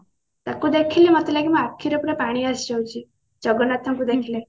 ତାକୁ ଦେଖିଲେ ମୋତେ ଲାଗେ ମୋ ଆଖିରେ ପୁରା ପାଣି ଆସିଯାଉଛି ଜଗନ୍ନାଥ ଙ୍କୁ ଦେଖିଲେ